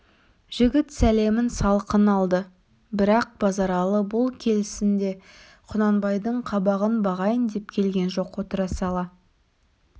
жігіт сәлемін салқын алды бірақ базаралы бұл келісінде құнанбайдың қабағын бағайын деп келген жоқ отыра сала